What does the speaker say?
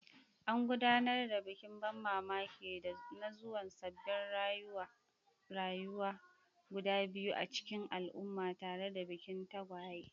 An gudanar da bikin ban mamaki na zuwan sabbin rayuwa guda biyu a cikin al'umma tare da bikin tagwaye.